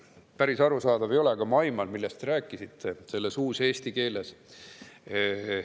Päris arusaadav ei ole, aga ma aiman, millest te selles uuseesti keeles rääkisite.